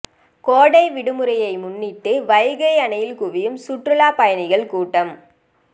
கோடை விடுமுறையை முன்னிட்டு வைகை அணையில் குவியும் சுற்றுலா பயணிகள் கூட்டம்